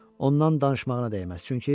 ondan danışmağına dəyməz.